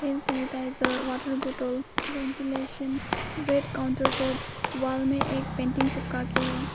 इन सुनीता इसर water bottle ventilation red counter top wall में एक पेंटिंग चिपका के है।